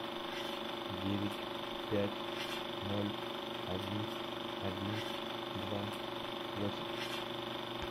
девять пять ноль один один два восемь